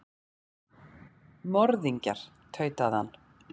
Morðingjar, tautaði hann.